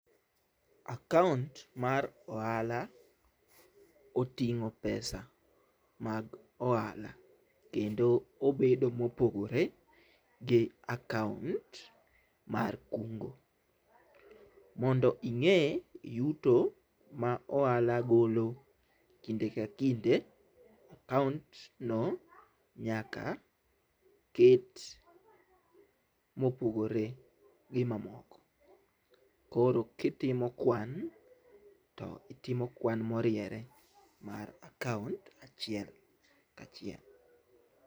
Akaont mar ohala oting'o pesa mag ohala kendo obedo mopogore gi akaont mar kungo. Mondo ing'e yuto ma ohala golo kinde ka kinde akaont no nyaka ket mopogore gi mamoko. Koro kitimo kwan to itimo kwan moriere mar akaont achiel kachiel.